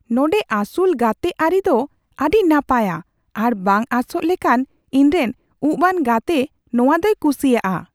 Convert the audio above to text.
ᱱᱚᱸᱰᱮ ᱟᱹᱥᱩᱞᱼᱜᱟᱛᱮ ᱟᱹᱨᱤ ᱫᱚ ᱟᱹᱰᱤ ᱱᱟᱯᱟᱭᱼᱟ ᱟᱨ ᱵᱟᱝ ᱟᱸᱥᱚᱜ ᱞᱮᱠᱟᱱ ᱼ ᱤᱧᱨᱮᱱ ᱩᱯᱼᱟᱱ ᱜᱟᱛᱮ ᱱᱚᱶᱟ ᱫᱚᱭ ᱠᱩᱥᱤᱭᱟᱜᱼᱟ !"